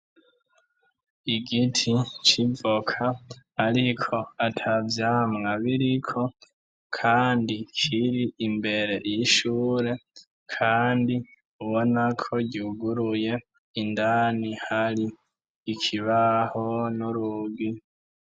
Igiti civoka, ariko ata vyamwa biriko, kandi kiri imbere 'ishure, kandi ubona ko ryuguruye indani hari ikibaho n'urugi.